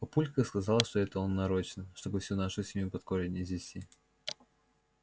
папулька сказал что это он нарочно чтобы всю нашу семью под корень извести